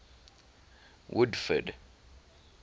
woodford